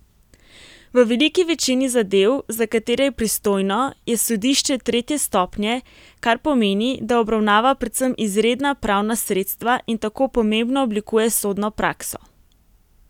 V veliki večini zadev, za katere je pristojno, je sodišče tretje stopnje, kar pomeni, da obravnava predvsem izredna pravna sredstva in tako pomembno oblikuje sodno prakso.